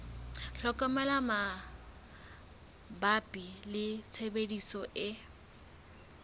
tlhokomelo mabapi le tshebediso e